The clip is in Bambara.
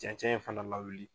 Cɛncɛn fana lawili